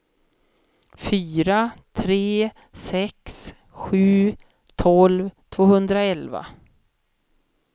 fyra tre sex sju tolv tvåhundraelva